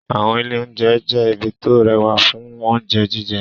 Àwọn ilé-oúnjẹ jẹ́ ibi tó rẹwà fún oúnjẹ jíjẹ.